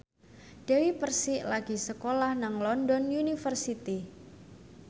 Dewi Persik lagi sekolah nang London University